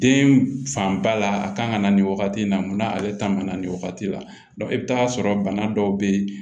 Den fanba la a kan ka na nin wagati in na mun na ale ta man na nin wagati la i bɛ taa sɔrɔ bana dɔw bɛ yen